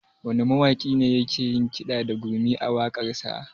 Wane mawaƙi ne yake yin kiɗa da gurmi a waƙarsa?